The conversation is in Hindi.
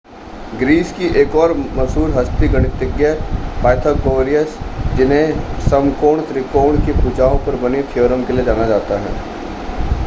ग्रीस की एक और मशहूर हस्ती गणितज्ञ पाइथागोरस जिन्हें समकोण त्रिकोण की भुजाओं पर बनी थ्योरम के लिए जाना जाता है